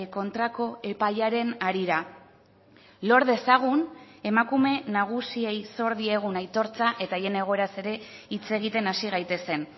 kontrako epaiaren harira lor dezagun emakume nagusiei zor diegun aitortza eta haien egoeraz ere hitz egiten hasi gaitezen